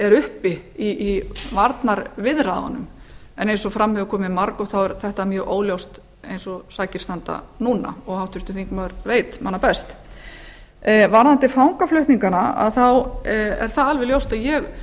er uppi í varnarviðræðunum en eins og fram hefur komið margoft er þetta mjög óljóst eins og sakir standa núna og háttvirtur þingmaður veit manna best varðandi fangaflutningana þá er það alveg ljóst að ég